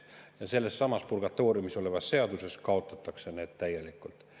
Aga sellessamas purgatooriumis olevas seadus kaotatakse need täielikult.